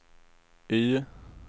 Y